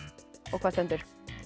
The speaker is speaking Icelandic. hvað stendur